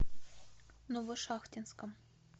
новошахтинском